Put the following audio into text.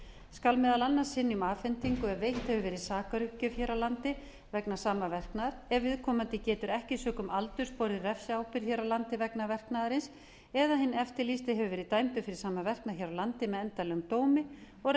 skal meðal annars synja um afhendingu ef veitt hefur verið sakaruppgjöf hér á landi vegna sama verknaðar ef viðkomandi getur ekki sökum aldurs borið refsiábyrgð hér á landi vegna verknaðarins eða hinn eftirlýsti hefur verið dæmdur fyrir sama verknað hér á landi með endanlegum dómi og